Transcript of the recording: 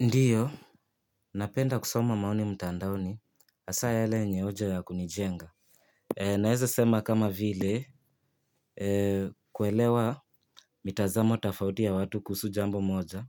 Ndiyo, napenda kusoma maoni mtandaoni, hasa yale yenye hoja ya kunijenga. Naweza sema kama vile, kuelewa mitazamo tafauti ya watu kuhusu jambo moja,